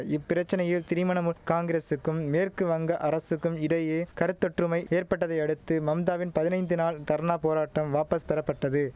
இப்பிரச்சனையில் திரிமணமுல் காங்கிரசுக்கும் மேற்கு வங்க அரசுக்கும் இடையே கருத்தொற்றுமை ஏற்பட்டதையடுத்து மம்தாவின் பதினைந்து நாள் தர்ணா போராட்டம் வாபஸ் பெறப்பட்டது